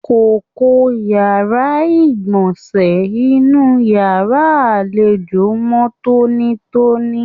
Kókó yàrá igbọnsẹ inú yàrá àlejò mọ tonitoni.